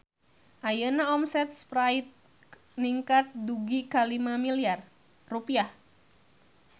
Ayeuna omset Sprite ningkat dugi ka 5 miliar rupiah